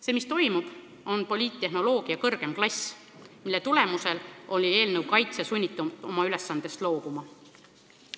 See, mis toimub, on poliittehnoloogia kõrgem klass, mille tagajärjel oli eelnõu kaitsja sunnitud oma ülesandest loobuma.